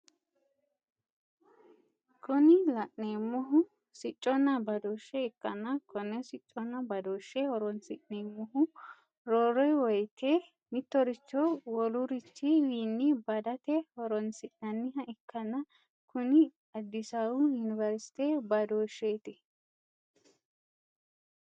Kuni la'neemohu sicconna badooshshe ikkanna konne sicconna badooshshe horonsi'neemohu roore wooyiite mittoricho wolurichi wiinni badate horonsi'nanniha ikkanna kuni addisawu yuniversite badooshsheeti.